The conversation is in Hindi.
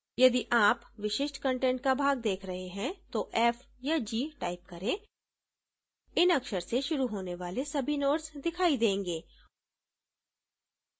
यदि आप विशिष्ट कंटेंट का भाग देख रहे हैं तो f या g type करें इन अक्षर से शुरू होने वाले सभी नोड्स दिखाई देंगे